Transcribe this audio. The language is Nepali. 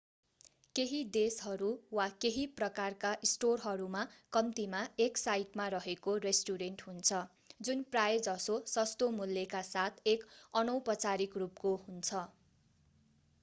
केही देशहरू वा केही प्रकारका स्टोरहरूमा कम्तिमा एक साइटमा रहेको रेस्टुरेन्ट हुन्छ जुन प्राय:जसो सस्तो मूल्यका साथ एक अनौपचारिक रूपको हुन्छ।